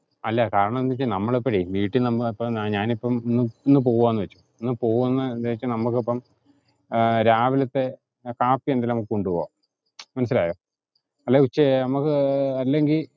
അല്ല കാരണം എന്താന്ന് വെച്ച നമ്മള് വീട്ടീന്ന് നമ്മളെ ഞാനിപ്പം ഇന്ന് പോവാന്ന് വെച്ചോ. ഇന്ന് പോവുന്ന ഉദ്ദേശം നമുക്കിപ്പം രാവിലത്തെ കാപ്പി എന്തേലും നമുക്ക് കൊണ്ട് പോകാം മനസ്സിലായോ? അല്ലെ ഉച്ച നമക്ക് അല്ലെങ്കിൽ